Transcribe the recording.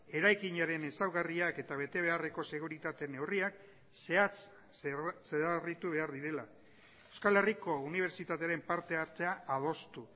eraikinaren ezaugarriak eta bete beharreko seguritate neurriak zehatz zedarritu behar direla euskal herriko unibertsitatearen parte hartzea adostu